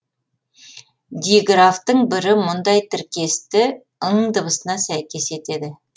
диграфтың бірі мұндай тіркесті ң дыбысына сәйкес етеді